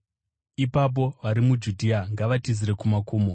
ipapo vari muJudhea ngavatizire kumakomo.